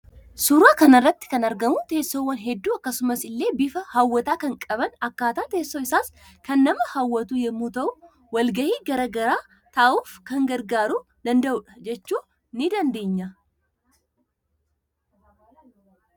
Suuraa kanarratti kan argamu tessoowwan hedduuu akkasumas ille bifa hawwataa kan qaban akkatan tesso isas kan nama hawwatu yommuu ta'u walgahii garaa garaa taa'uuf kan gargaaru dandahudha jechuu ni dandeenya